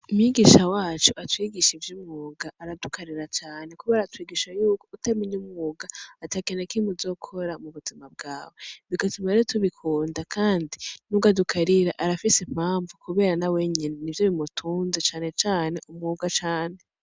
Umwigisha wacu atwigisha ivyo umuga aradukarira cane kuba aratwigisha yuko utemenye umuga ati akenekime uzokora mu buzima bwawe bigatumere tubikunda, kandi n'ugadukarira arafise impamvu, kubera na we nyene ni vyo bimutunze canecane umwuga cane.